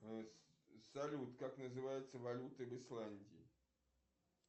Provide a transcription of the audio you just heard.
салют как называется валюта в исландии